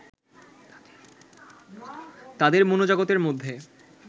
তাদের মনোজগতের মধ্যে